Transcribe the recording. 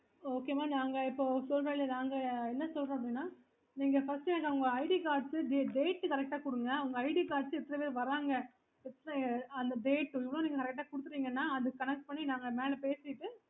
okay